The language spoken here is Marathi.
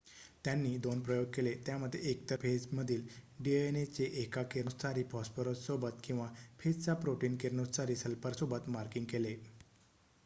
त्यांनी दोन प्रयोग केले त्यामध्ये एकतर फेजमधील डीएनए चे एका किरणोत्सारी फॉस्फरससोबत किंवा फेजचा प्रोटीन किरणोत्सारी सल्फरसोबत मार्किंग केले